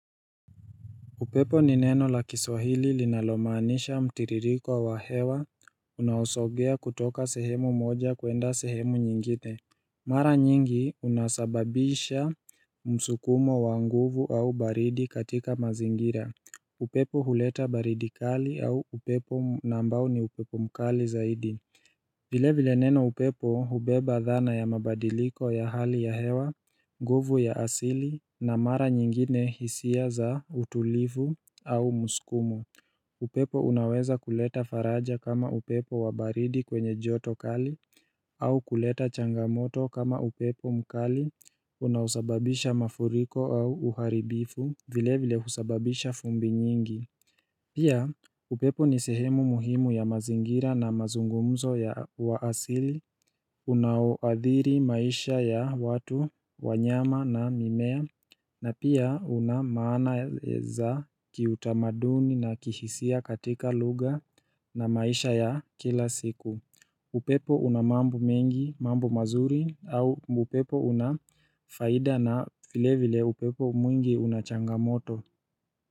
Upepo ni neno la kiswahili linalomaanisha mtiririko wa hewa unaosogea kutoka sehemu moja kuenda sehemu nyingine Mara nyingi unasababisha msukumo wa nguvu au baridi katika mazingira upepo huleta baridi kali au upepo na ambao ni upepo mkali zaidi vile vile neno upepo hubeba dhana ya mabadiliko ya hali ya hewa, nguvu ya asili, na mara nyingine hisia za utulivu au msukumo. Upepo unaweza kuleta faraja kama upepo wabaridi kwenye joto kali, au kuleta changamoto kama upepo mkali, unaosababisha mafuriko au uharibifu, vile vile husababisha vumbi nyingi. Pia upepo ni sehemu muhimu ya mazingira na mazungumzo ya uasili Unaoadhiri maisha ya watu, wanyama na mimea na pia unamaana za kiutamaduni na kihisia katika lugha na maisha ya kila siku upepo unamambo mengi, mambo mazuri au upepo unafaida na vile vile upepo mwingi unachangamoto.